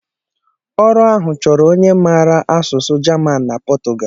Ọrụ ahụ chọrọ onye mara asụ asụsụ Jaman and Pọtugal.